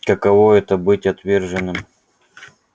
каково это быть отверженным